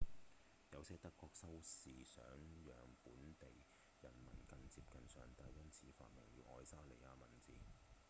有些德國修士想讓本地人民更接近上帝因此發明了愛沙尼亞文字